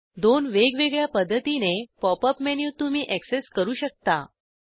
दोन वेगवेगळ्या पद्धतीने पॉप अप मेनू तुम्ही एक्सेस करू शकता